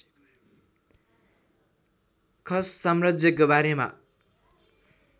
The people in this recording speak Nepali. खस साम्राज्यको बारेमा